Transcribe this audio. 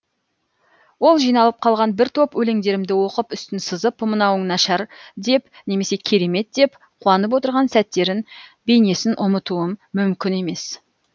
ол жиналып қалған бір топ өлеңдерімді оқып үстін сызып мынауың нашар деп немесе керемет деп қуанып отырған сәттерін бейнесін ұмытуым мүмкін емес